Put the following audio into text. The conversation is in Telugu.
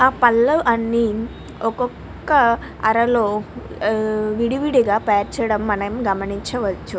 ఆ పళ్ళు అన్ని ఒక్కొక్క అరలో విడివిడిగా పేర్చడం గమనించవచ్చు.